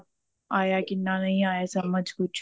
ਆਇਆ ਕਿੰਨਾ ਨਹੀਂ ਆਇਆ ਸਮਝ ਕੁੱਛ